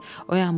Oyanmışdı